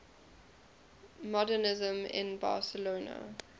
modernisme in barcelona